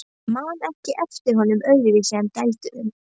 Ég man ekki eftir honum öðruvísi en dælduðum.